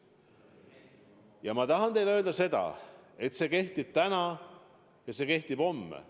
Ja ma tahan teile öelda seda, et see kehtib täna ja see kehtib homme.